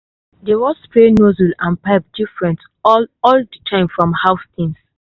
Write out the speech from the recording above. dey wash spray nozzle and pipe different all all the time from house things.